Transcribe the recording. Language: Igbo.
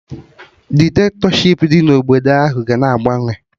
Dikitatọshipụ dị na obodo ahụ ga na agbanwe